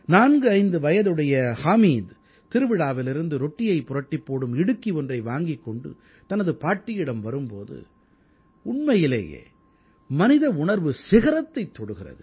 45 வயதுடைய ஹாமீத் திருவிழாவிலிருந்து ரொட்டியைப் புரட்டிப் போடும் இடுக்கி ஒன்றை வாங்கிக் கொண்டு தனது பாட்டியிடம் வரும் போது உண்மையிலேயே மனித உணர்வு சிகரத்தைத் தொடுகிறது